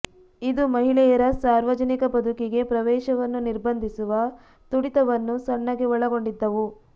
ಇದು ಮಹಿಳೆಯರ ಸಾರ್ವಜನಿಕ ಬದುಕಿಗೆ ಪ್ರವೇಶವನ್ನು ನಿರ್ಬಂಧಿಸುವ ತುಡಿತವನ್ನು ಸಣ್ಣಗೆ ಒಳಗೊಂಡಿದ್ದವು